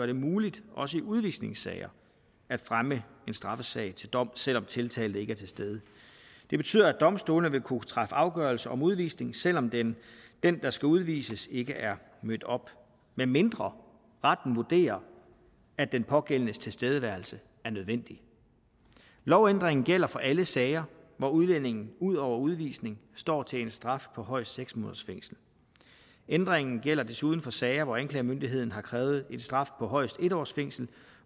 det muligt også i udvisningssager at fremme en straffesag til dom selv om tiltalte ikke er til stede det betyder at domstolene vil kunne træffe afgørelse om udvisning selv om den der skal udvises ikke er mødt op medmindre retten vurderer at den pågældendes tilstedeværelse er nødvendig lovændringen gælder for alle sager hvor udlændinge ud over udvisning står til en straf på højst seks måneders fængsel ændringen gælder desuden for sager hvor anklagemyndigheden har krævet en straf på højst en års fængsel